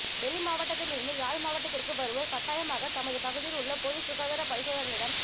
வெளி மாவட்டத்திலிருந்து யாழ் மாவட்டத்திற்கு வருவோர் கட்டாயமாக தமது பகுதியில் உள்ள பொதுச் சுகாதார பரிசோதகர்களிடம்